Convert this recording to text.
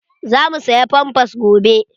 Za mu saya pampas gobe.